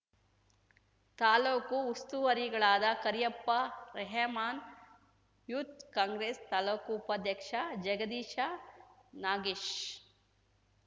ತಾಲೂಕು ಉಸ್ತುವಾರಿಗಳಾದ ಕರಿಯಪ್ಪ ರೆಹಮಾನ್‌ ಯೂತ್‌ ಕಾಂಗ್ರೆಸ್‌ ತಾಲೂಕು ಉಪಾಧ್ಯಕ್ಷ ಜಗದೀಶ ನಾಗೇಶ್